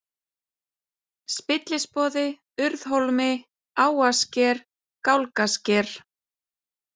Spillisboði, Urðhólmi, Áarsker, Gálgasker